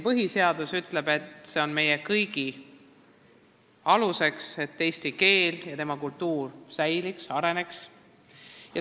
Põhiseadus ütleb, et see on meie jaoks kõige alus, et eesti keel ja kultuur säiliks ja areneks.